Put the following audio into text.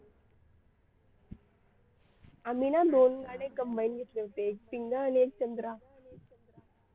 आम्ही ना दोन गाणे combine घेतले होते. एक पिंगा आणि एक चंद्रा